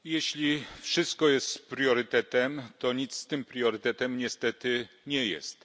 Jeśli wszystko jest priorytetem, to nic tym priorytetem niestety nie jest.